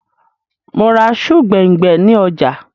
Mò ra sùù gbẹ̀ngbẹ̀ ni ọjà